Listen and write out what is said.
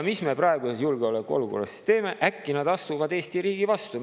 Mis me praeguses julgeolekuolukorras siis teeme, kui nad äkki astuvad Eesti riigi vastu?